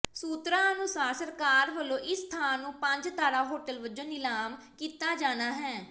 ਸੂਤਰਾਂ ਅਨੁਸਾਰ ਸਰਕਾਰ ਵੱਲੋਂ ਇਸ ਥਾਂ ਨੂੰ ਪੰਜ ਤਾਰਾ ਹੋਟਲ ਵਜੋਂ ਨਿਲਾਮ ਕੀਤਾ ਜਾਣਾ ਹੈ